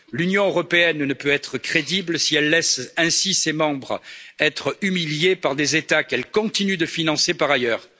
L'Union européenne ne peut être crédible si elle laisse ainsi ses membres se faire humilier par des États qu'elle continue de financer par ailleurs.